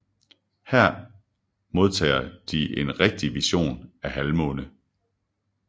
Her modtager de en rigtig vision af Halvmåne